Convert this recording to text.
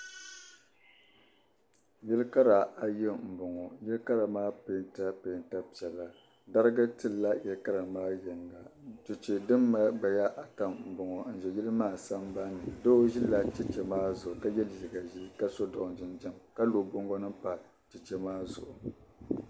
Yailikara ayi n bɔŋɔ, yili kara ŋɔ nyɛla din pɛɛnti la pɛɛnta piɛla dariga tlila yili kara maa puuni yiŋga, cheche din mali gbaya ata n bɔŋɔ n ʒɛ yili maa san ban ni. doo n ʒi cheche maa zuɣu ka ye liiga ʒɛɛ, ka sɔ dɔn jinjam ka lɔ bɔŋgonim pa cheche maa zuɣu,